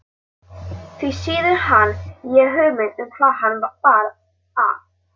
Því síður hafði ég hugmynd um hvaðan hana bar að.